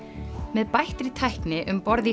með bættri tækni um borð í